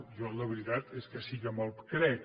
jo la veritat és que sí que me’l crec